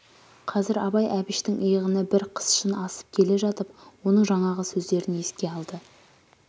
қазір абай әбіштің иығына бір қсшын асып келе жатып оның жаңағы сөздерін еске алды